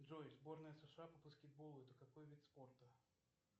джой сборная сша по баскетболу это какой вид спорта